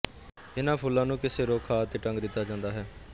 ਇਨ੍ਹਾਂ ਫੁੱਲਾਂ ਨੂੰ ਕਿਸੇ ਰੁੱਖ ਆਦਿ ਤੇ ਟੰਗ ਦਿੱਤਾ ਜਾਂਦਾ ਹੈ